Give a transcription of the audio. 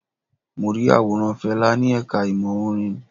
Mo rí àwòrán Fẹlá ni ẹ̀ka ìmọ̀ orin.